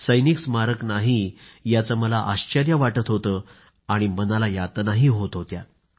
सैनिक स्मारक नाही याचं मला आश्चर्यही वाटत होतं आणि मनाला यातनाही होत होत्या